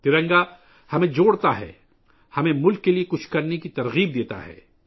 ترنگا ہمیں متحد کرتا ہے، ہمیں ملک کے لئے کچھ کرنے کی ترغیب دیتا ہے